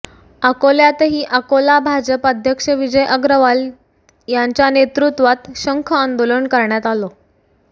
अकोल्यातही अकोला भाजप अध्यक्ष विजय अग्रवाल यांच्या नेतृत्वात शंख आंदोलन करण्यात आलं